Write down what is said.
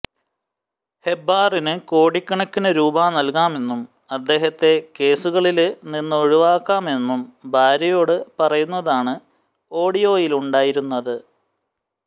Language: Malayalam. ഹെബ്ബാറിന് കോടിക്കണക്കിന് രൂപാ നല്കാമെന്നും അദ്ദേഹത്തെ കേസുകളില് നിന്നൊഴിവാക്കാമെന്നും ഭാര്യയോട് പറയുന്നതാണ് ഓഡിയോയിലുണ്ടായിരുന്നത്